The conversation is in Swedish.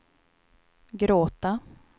gråta